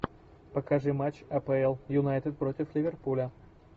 покажи матч апл юнайтед против ливерпуля